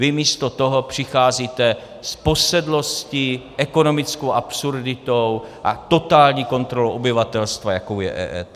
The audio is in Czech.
Vy místo toho přicházíte s posedlostí, ekonomickou absurditou a totální kontrolou obyvatelstva, jakou je EET.